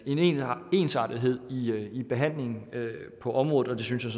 en ensartethed i behandlingen på området og det synes jeg